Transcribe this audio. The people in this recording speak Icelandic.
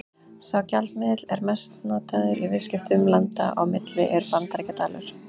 Sá gjaldmiðill sem mest er notaður í viðskiptum landa á milli er Bandaríkjadalur.